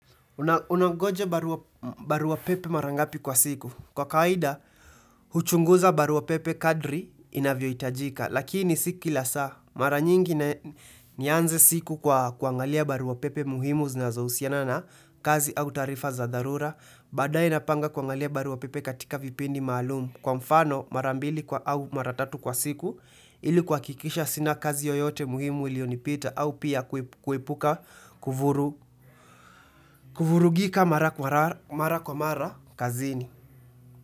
Unaongoja barua pepe mara ngapi kwa siku. Kwa kawaida, huchunguza barua pepe kadri inavyohitajika. Lakini si kila saa. Mara nyingi nianze siku kwa kuangalia barua pepe muhimu zinazohusiana na kazi au taarifa za dharura. Baadaye napanga kuangalia barua pepe katika vipindi maalum Kwa mfano mara mbili kwa au mara tatu kwa siku ili kuhakikisha sina kazi yoyote muhimu ulionipita au pia kuepuka kuvurugika mara mara kwa mara kazini.